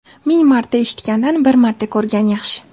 Ming marta eshitgandan bir marta ko‘rgan yaxshi.